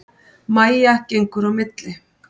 Mæja gengur á milli.